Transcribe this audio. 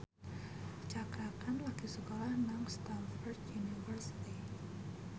Cakra Khan lagi sekolah nang Stamford University